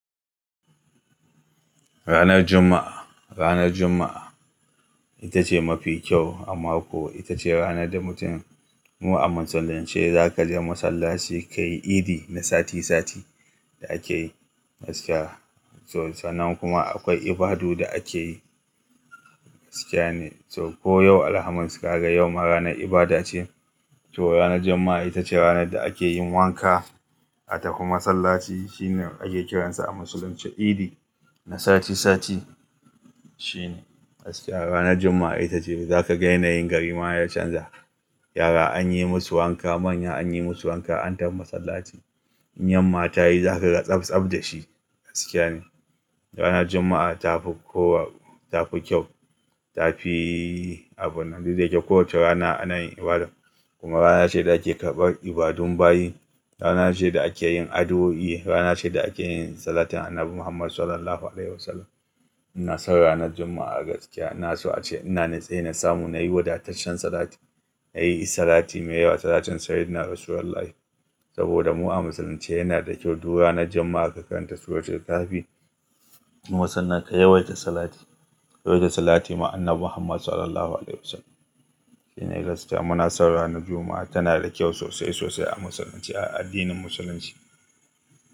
Ranar Juma'a, ranar Juma'a ita ce mafi kyau a mako. Ita ce ranar da mutum mu a musulunce za ka je masallaci ka yi idi na sati sati da ake yi gaskiya. To, sanan kuma akwai ibadu da ake yi gaskiya ne. To, ko yau Alhamis ka ga yau ma ranar ibada ce. To, ranar Juma'a ita ce ranar da ake yin wanka a tafi masallaci. Shine ake kiransa a musulunce idi na sati sati shine gaskiya. Ranar Juma'a ita ce za ka ga na yin garima ya canza. Yara an yi musu wanka, manya an yi musu wanka an tafi masallaci. Inyan mata yi za ka ga tsab tsab da shi gaskiya ne. Ranar Juma'a ta fi kowa, ta fi kyau, ta fi abun duk da yake kowace rana ana yin ibada. Kuma rana ce da ake karɓar ibadun bayi. Rana ce da ake yin addu'o'i. Rana ce da ake yin salatin Annabi Muhammad sallallahu alaihi wasallam. Munasan ranar Juma'a gaskiya. Na so a ce ina natse na samu, na yi wadataccen salati. Na yi salati mai yawa, salacin Sayyidina Rasulullahi. Saboda mu a musulunce yana da kyau duk ranar Juma'a ka karanta suratul Kahfi. Kuma sannan ka yawaita salati, ka yawaita salati ma Annabi Muhammad sallallahu alaihi wasallam. Shine gaskiya. Munasan ranar Juma'a tana da kyau sosai sosai a musulunci, a addinin musulunci.